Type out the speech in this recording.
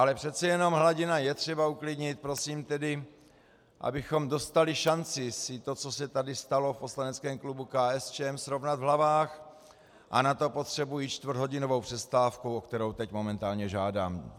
Ale přece jenom hladinu je třeba uklidnit, prosím tedy, abychom dostali šanci si to, co se tady stalo, v poslaneckém klubu KSČM srovnat v hlavách, a na to potřebuji čtvrthodinovou přestávku, o kterou teď momentálně žádám.